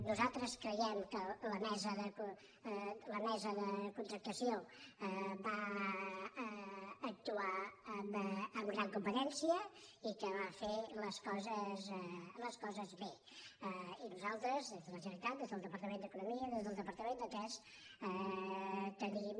nosaltres creiem que la mesa de contractació va actuar amb gran competència i que va fer les coses bé i nosaltres des de la generalitat des del departament d’economia des del departament de ts tenim